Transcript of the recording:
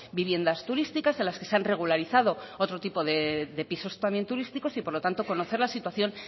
viviendas turísticas en las que se han regularizado otro tipo de pisos también turísticos y por lo tanto conocer la situación